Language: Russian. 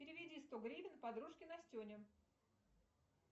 переведи сто гривен подружке настене